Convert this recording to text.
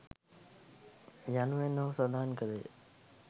යනුවෙන් ඔහු සඳහන් කළේය.